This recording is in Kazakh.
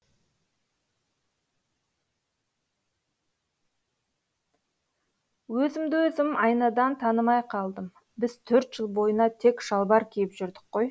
өзімді өзім айнадан танымай қалдым біз төрт жыл бойына тек шалбар киіп жүрдік қой